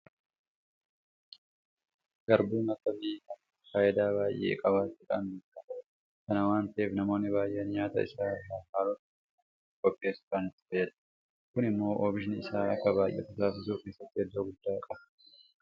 Garbuun akka biyya kanaatti faayidaa baay'ee qabaachuudhaan beekama. Kana waanta ta'eef namoonni baay'een nyaata isa irraa haalota garaa garaatiin qopheessuudhaan itti fayyadamu. Kun immoo oomishni isaa akka baay'atu taasisuu keessatti iddoo guddaa qaba.